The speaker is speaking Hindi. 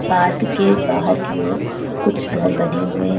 पार्क के बाहर की ओर कुछ घर बने हुए हैं।